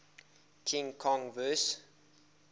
king kong vs